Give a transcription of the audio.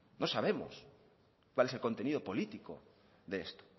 no sabemos cuál es el contenido político de esto